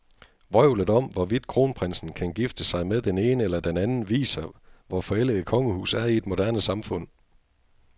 Vrøvlet om, hvorvidt kronprinsen kan gifte sig med den ene eller den anden, viser, hvor forældet et kongehus er i et moderne samfund.